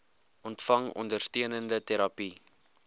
ontvang ondersteunende terapie